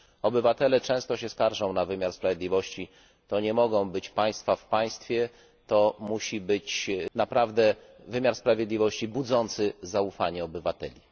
Obywatele często się skarżą na wymiar sprawiedliwości, to nie mogą być państwa w państwie, to musi być naprawdę wymiar sprawiedliwości budzący zaufanie obywateli.